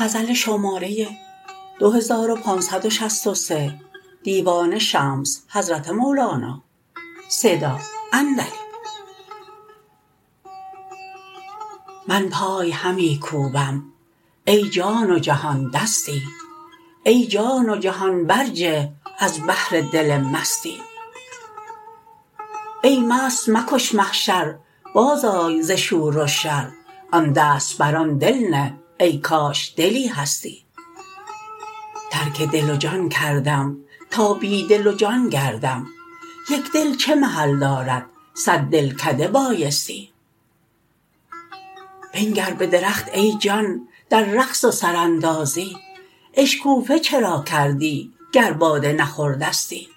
من پای همی کوبم ای جان و جهان دستی ای جان و جهان برجه از بهر دل مستی ای مست مکن محشر بازآی ز شور و شر آن دست بر آن دل نه ای کاش دلی هستی ترک دل و جان کردم تا بی دل و جان گردم یک دل چه محل دارد صد دلکده بایستی بنگر به درخت ای جان در رقص و سراندازی اشکوفه چرا کردی گر باده نخوردستی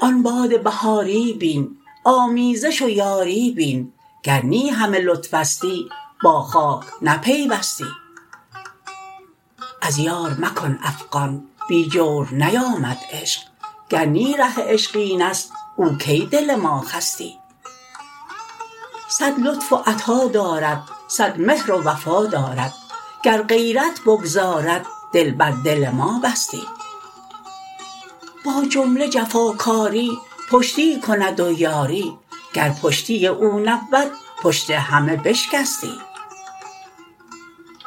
آن باد بهاری بین آمیزش و یاری بین گر نی همه لطفستی با خاک نپیوستی از یار مکن افغان بی جور نیامد عشق گر نی ره عشق این است او کی دل ما خستی صد لطف و عطا دارد صد مهر و وفا دارد گر غیرت بگذارد دل بر دل ما بستی با جمله جفاکاری پشتی کند و یاری گر پشتی او نبود پشت همه بشکستی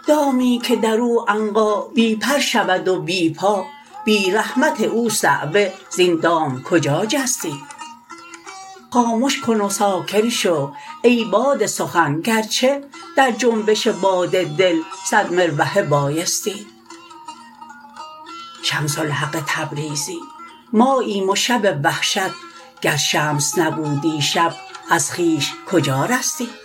دامی که در او عنقا بی پر شود و بی پا بی رحمت او صعوه زین دام کجا جستی خامش کن و ساکن شو ای باد سخن گرچه در جنبش باد دل صد مروحه بایستی شمس الحق تبریزی ماییم و شب وحشت گر شمس نبودی شب از خویش کجا رستی